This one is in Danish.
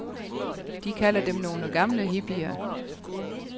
De kalder dem nogle gamle hippier.